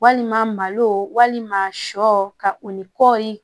Walima malo walima sɔ ka o ni kɔɔri